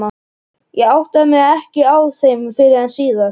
Ég áttaði mig ekki á þeim fyrr en síðar.